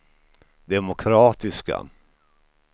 demokratiska